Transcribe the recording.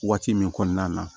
Waati min kɔnɔna na